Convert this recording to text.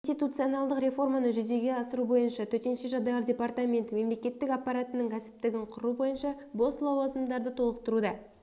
институциональдық реформаны жүзеге асыру бойынша төтенше жағдайлар департаменті мемлекеттік аппаратының кәсіптігін құру бойынша бос лауазымдарды толықтыруда